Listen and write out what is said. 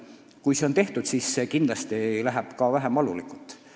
Kui see töö on tehtud, siis läheb kõik vähem valulikult.